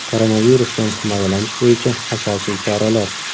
Koronavirusdan himoyalanish bo‘yicha asosiy choralar.